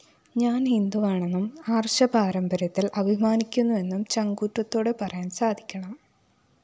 ഞാന്‍ ഹിന്ദുവാണെന്നും ആര്‍ഷ പാരമ്പര്യത്തില്‍ അഭിമാനിക്കുന്നുവെന്നും ചങ്കൂറ്റത്തോടെ പറയാന്‍ സാധിക്കണം